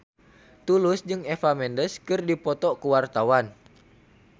Tulus jeung Eva Mendes keur dipoto ku wartawan